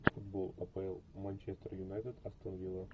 футбол апл манчестер юнайтед астон вилла